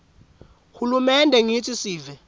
hulumende ngitsi sive